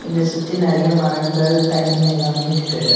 இத சுத்தி நறைய மரங்கள் தண்ணி எல்லாமே இருக்குது.